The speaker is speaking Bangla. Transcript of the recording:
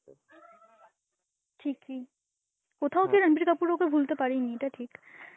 ঠিকই, কোথাও কি রাণবীর কাপুর ওকে ভুলতে পারেনি, এটা ঠিক.